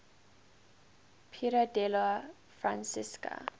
piero della francesca